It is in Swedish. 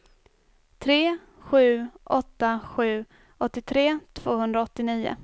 tre sju åtta sju åttiotre tvåhundraåttionio